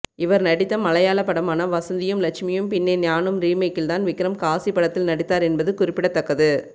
இவர் நடித்த மலையாள படமான வசந்தியும் லட்சுமியும் பின்னே ஞானும் ரீமேக்கில்தான் விக்ரம் காசி படத்தில் நடித்தார் என்பது குறிப்பிடத்தக்கது